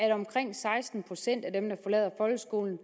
at omkring seksten procent af dem der forlader folkeskolen